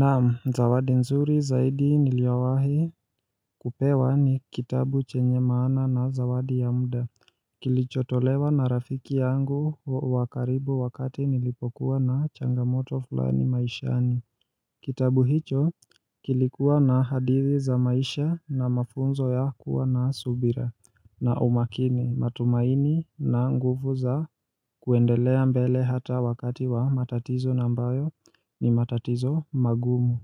Naam, zawadi nzuri zaidi niliyowahi kupewa ni kitabu chenye maana na zawadi ya muda. Kilichotolewa na rafiki yangu wa karibu wakati nilipokuwa na changamoto fulani maishani. Kitabu hicho kilikuwa na hadithi za maisha na mafunzo ya kuwa na subira na umakini, matumaini na nguvu za kuendelea mbele hata wakati wa matatizo ambayo ni matatizo magumu.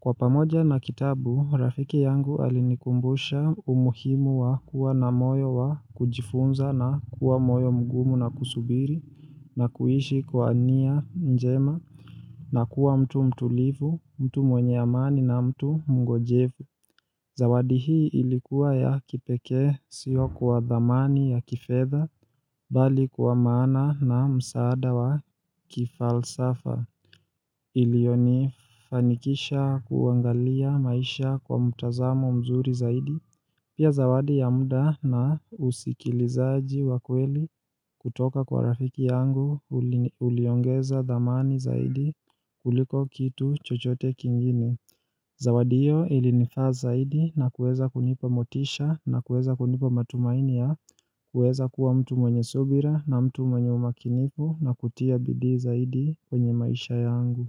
Kwa pamoja na kitabu, rafiki yangu alinikumbusha umuhimu wa kuwa na moyo wa kujifunza na kuwa moyo mgumu na kusubiri na kuishi kwa nia njema na kuwa mtu mtulivu, mtu mwenye amani na mtu mngonjefu. Zawadi hii ilikuwa ya kipekee sio kwa dhamani ya kifedha bali kwa maana na msaada wa kifalsafa. Iliyonifanikisha kuangalia maisha kwa mtazamo mzuri zaidi. Pia zawadi ya muda na usikilizaji wa kweli kutoka kwa rafiki yangu uliongeza dhamani zaidi kuliko kitu chochote kingine. Zawadi hiyo ilinifaa zaidi na kuweza kunipa motisha, na kuweza kunipa matumaini ya kuweza kuwa mtu mwenye subira, na mtu mwenye umakinifu na kutia bidii zaidi kwenye maisha yangu.